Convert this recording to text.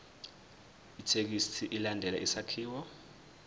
ithekisthi ilandele isakhiwo